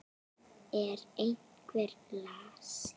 Er einhver lasinn?